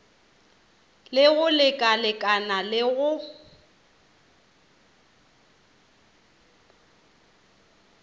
le go lekalekana le go